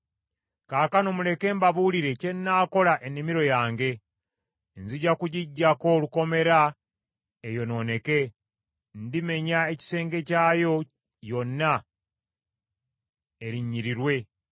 Kaakano muleke mbabuulire kye nnaakola ennimiro yange ey’emizabbibu. Nzija kugiggyako olukomera eyonooneke. Ndimenya ekisenge kyayo yonna erinnyirirwe.